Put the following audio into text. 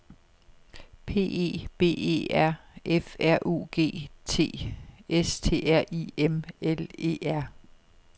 P E B E R F R U G T S T R I M L E R